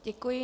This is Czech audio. Děkuji.